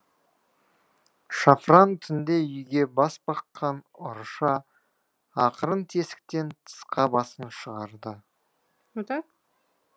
шафран түнде үйге бас баққан ұрыша ақырын тесіктен тысқа басын шығарды